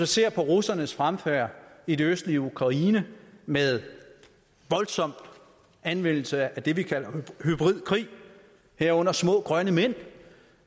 ser på russernes fremfærd i det østlige ukraine med voldsom anvendelse af det vi kalder hybridkrig herunder små grønne mænd